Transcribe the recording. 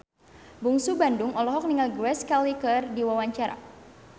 Bungsu Bandung olohok ningali Grace Kelly keur diwawancara